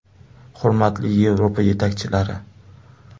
Hurmatli Yevropa yetakchilari.